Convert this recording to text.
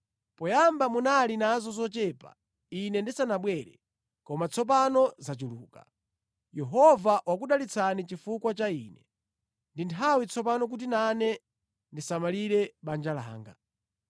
Poyamba munali nazo zochepa ine ndisanabwere, koma tsopano zachuluka. Yehova wakudalitsani chifukwa cha ine. Ndi nthawi tsopano kuti nane ndisamalire banja langa.”